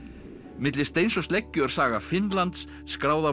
milli steins og sleggju er saga Finnlands skráð af